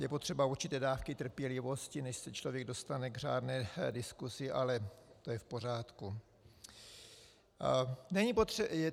Je potřeba určité dávky trpělivosti, než se člověk dostane k řádné diskusi, ale to je v pořádku.